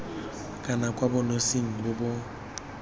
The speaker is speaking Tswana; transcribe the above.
kana kwa bonosing bo bo